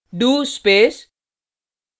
do space